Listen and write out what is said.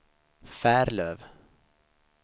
Färlöv